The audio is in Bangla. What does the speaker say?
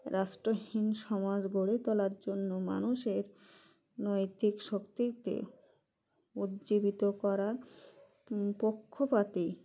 রাষ্ট্রহীন সমাজ গড়ে তোলার জন্য মানুষের নৈতিক শক্তিকে উজ্জীবিত করার পক্ষপাতী